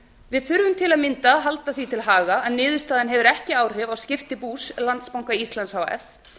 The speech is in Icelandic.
við þurfum til að mynda að halda því til haga að niðurstaðan hefur ekki áhrif á skipti bús landsbanka íslands h f